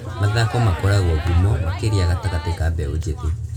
Mathako makoragwo ngumo makĩria gatagatĩ ka mbeũ njĩthĩ.